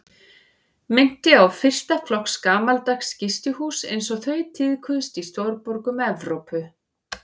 Minnti á fyrsta flokks gamaldags gistihús einsog þau tíðkuðust í stórborgum Evrópu.